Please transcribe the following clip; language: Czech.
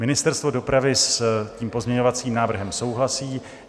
Ministerstvo dopravy s tím pozměňovacím návrhem souhlasí.